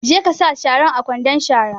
Je ka sa sharan a kwandon shara!